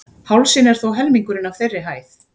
Hálsinn er þó helmingurinn af þeirri hæð.